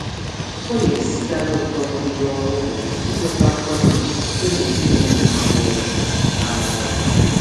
Ụfọdụ ndị ọrụ ụlọ na-esiri ike inweta nkwanye ùgwù site n'aka ezinụlọ ndị were ha n'ọrụ. n'ọrụ.